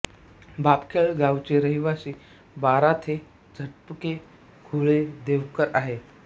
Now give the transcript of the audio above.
बोपखेल गावचे रहिवाशी बाराथे झपके घुले देवकर आहेत